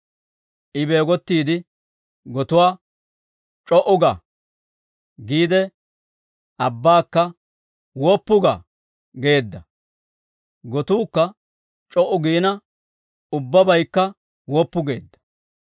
I beegottiide gotuwaa, «C'o"u ga» giide, abbaakka, «Woppu ga» geedda; gotuukka c'o"u giina, ubbabaykka woppu geedda.